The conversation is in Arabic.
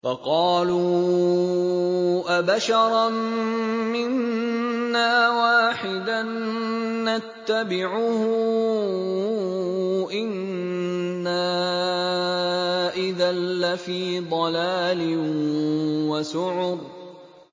فَقَالُوا أَبَشَرًا مِّنَّا وَاحِدًا نَّتَّبِعُهُ إِنَّا إِذًا لَّفِي ضَلَالٍ وَسُعُرٍ